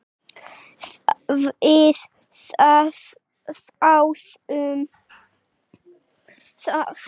Við þáðum það.